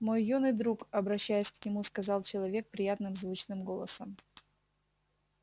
мой юный друг обращаясь к нему сказал человек приятным звучным голосом